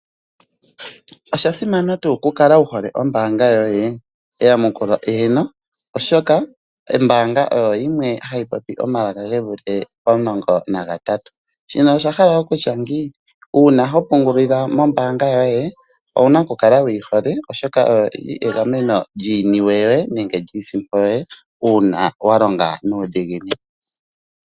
Osha simana tuu ku kala wu hole ombaanga yoye? Eyamukulo eeno oshoka ombaanga oyo yimwe ha yi popi omalaka ge vule pomulongo nagatatu. Shino osha hala okutya ngiini? Uuna ho pungulile mombaanga yoye owuna okulala wu yi hole oshoka oyo yili egameno lyiiniwe yoye nenge lyiisimpo yoye, uunwa wa longa nuudhiginini.